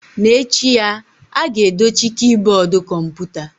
N'echi ya, a ga-edochi kiiboodu kọmputa.